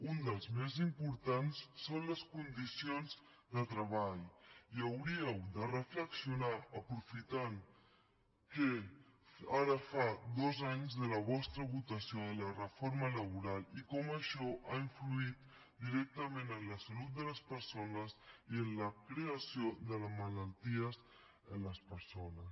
un dels més importants són les condicions de treball hi hauríeu de reflexionar aprofitant que ara fa dos anys de la vostra votació de la reforma laboral i com això ha influït directament en la salut de les persones i en la creació de les malalties en les persones